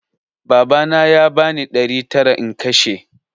Babana ya bani ɗari tara in kashe